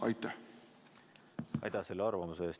Aitäh selle arvamuse eest!